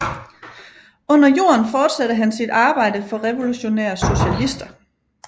Under jorden fortsatte han sit arbejde for Revolutionære Socialister